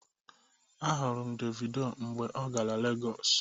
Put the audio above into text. Ahụrụ m Davido mgbe ọ gara Legọs.